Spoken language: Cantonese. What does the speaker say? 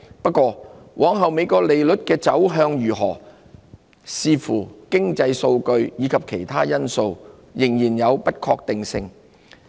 不過，美國利率往後的走向如何，將視乎經濟數據及其他因素而定，仍然有不確定性。